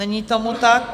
Není tomu tak.